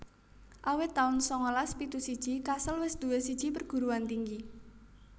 Awit taun sangalas pitu siji Kassel wis duwé siji perguruan tinggi